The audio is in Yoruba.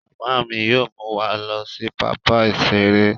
Mama mi yóò mú wa lọ sí pápá iṣere